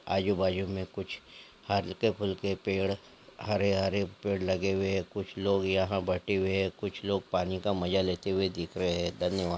आजू-बाजू में कुछ हल्के फुल्के पेड़ हरे-हरे पेड़ लगे हुए हैं कुछ लोग यहाँ बैठे हुए हैं कुछ लोग पानी का मजा लेते हुए दिख रहे हैं धन्यवाद।